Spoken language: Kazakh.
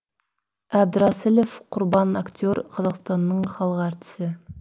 әбдірасілов құрбан актер қазақстанның халық артисі